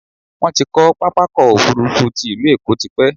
Wọ́́n ti kọ́ pápákọ̀ òfurufú ti ilú Èkó tipẹ́